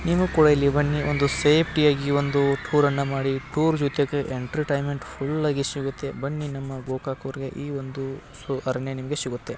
ನೀವು ಕೂಡ ಇಲ್ಲಿ ಬನ್ನಿ ಒಂದು ಸೇಫ್ಟಿಯ ಈ ಒಂದು ಟೂರ್ ಅನ್ನ ಮಾಡಿ ಟೂರ್ ಜೊತೆಗೆ ಎಂಟರ್ಟೈನ್ಮೆಂಟ್ ಫುಲ್ಆಗಿ ಸಿಗತ್ತೆ ಬನ್ನಿ ನಮ್ಮ ಗೋಕಾಕ್ ಊರ್ಗೆ ಈ ಒಂದು ಸು ಅರಣ್ಯ ನಿಮಗೆ ಸಿಗತ್ತೆ.